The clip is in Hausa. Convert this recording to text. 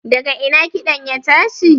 daga ina kiɗan ya tashi?